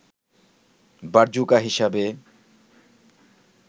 Brazuca হিসেবে